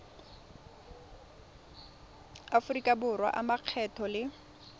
aforika borwa a makgetho le